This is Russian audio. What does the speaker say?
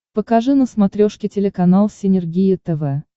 покажи на смотрешке телеканал синергия тв